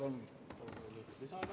Palun lisaaega!